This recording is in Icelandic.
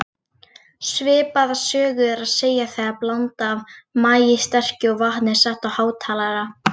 Svipaða sögu er að segja þegar blanda af maíssterkju og vatni er sett á hátalara.